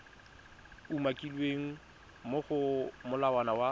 umakilweng mo go molawana wa